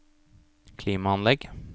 klimaanlegg